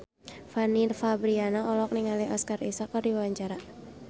Fanny Fabriana olohok ningali Oscar Isaac keur diwawancara